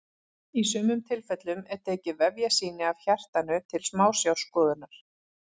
í sumum tilfellum er tekið vefjasýni af hjartanu til smásjárskoðunar